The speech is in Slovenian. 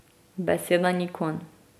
Beseda ni konj.